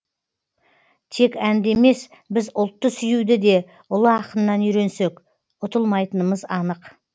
тек әнді емес біз ұлтты сүюді де ұлы ақыннан үйренсек ұтылмайтынымыз анық